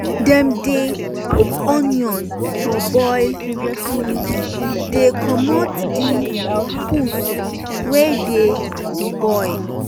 dem dey um put onion for boil to um dey comot di pus wey dey di boil.